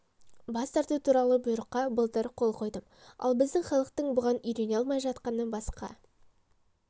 бас тарту туралы бұйрыққа былтыр қол қойдым ал біздің халықтың бұған үйрене алмай жатқаны басқа